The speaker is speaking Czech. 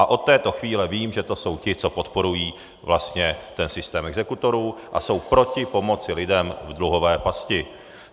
A od této chvíle vím, že to jsou ti, co podporují vlastně ten systém exekutorů a jsou proti pomoci lidem v dluhové pasti.